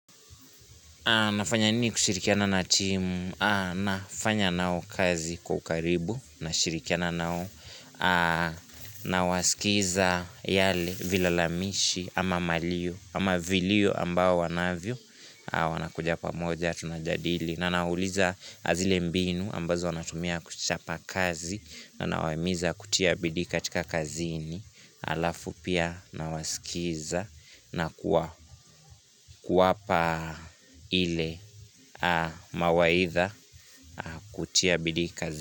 Nafanya nini kushirikiana na timu? Nafanya nao kazi kwa ukaribu, na shirikiana nao, na wasikiza yale vilalamishi ama malio, ama viliyo ambao wanavyo, wana kuja pamoja, tunajadili na nauliza zile mbinu ambazo wanatumia kuchapa kazi, na nawaimiza kutia bidii katika kazini. Alafu pia nawasikiza na kuwapa ile mawaidha kutia bidii kazini.